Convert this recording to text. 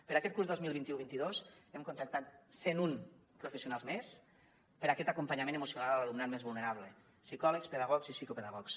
per a aquest curs dos mil vint u vint dos hem contractat cent un professionals més per a aquest acompanyament emocional a l’alumnat més vulnerable psicòlegs pedagogs i psicopedagogs